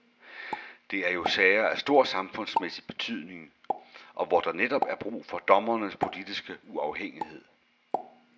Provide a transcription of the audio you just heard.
Det er jo sager af stor samfundsmæssig betydning, og hvor der netop er brug for dommernes politiske uafhængighed.